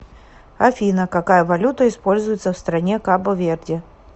афина какая валюта используется в стране кабо верде